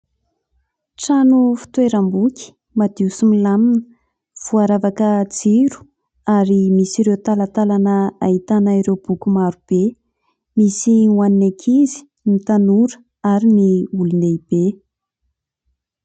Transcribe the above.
Trano fitoeram-boky madio sy milamina voaravaka jiro ary misy ireo talatalana ahitana ireo boky marobe misy ho an' ny ankizy sy ny tanora ary ny olondehibe.